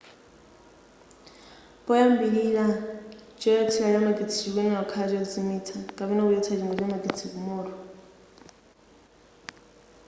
poyambilira choyatsila cha magetsi chikuyenela kukhala chozimitsa kapena kuchotsa chingwe cha magetsi ku moto